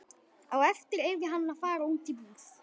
Á eftir yrði hann að fara út í búð.